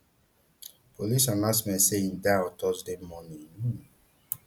police announce say im die on thursday morning um